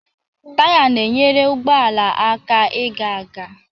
Taya na-enyere ụgbọ ala aka ịga aga.